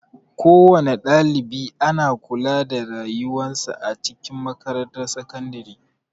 Kowana ɗalibi ana kula da rayuwan sa a cikin makarantar sakandare.